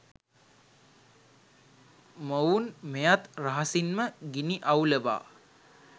මොවුන් මෙයත් රහසින්ම ගිනි අවුලවා